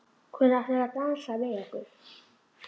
Hvenær ætlið þið að dansa við okkur?